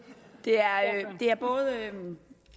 det er